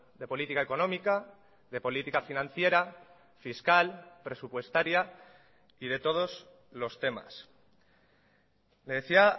de política económica de política financiera fiscal presupuestaria y de todos los temas le decía